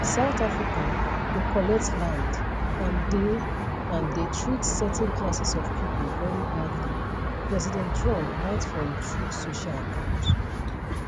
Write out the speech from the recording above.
south africa dey collect land and dey and dey treat certain classes of pipo very badly president trump write for im truth social account